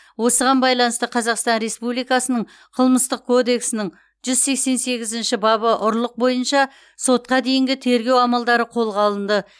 осыған байланысты қазақстан республикасының қылмыстық кодексінің жүз сексен сегізінші бабы ұрлық бойынша сотқа дейінгі тергеу амалдары қолға алынды